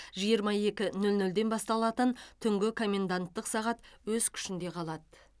жиырма екі нөл нөлден басталатын түнгі коменданттық сағат өз күшінде қалады